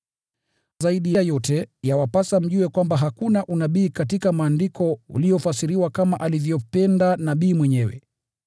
Zaidi ya yote, yawapasa mjue kwamba hakuna unabii katika Maandiko uliofasiriwa kama alivyopenda nabii mwenyewe.